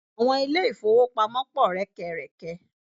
Àwọn ilé-ìfówopamọ́ pọ̀ rẹ́kẹrẹ̀kẹ.